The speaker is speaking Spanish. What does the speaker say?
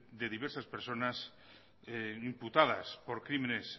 de diversas personas imputadas por crímenes